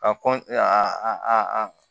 Ka kɔn a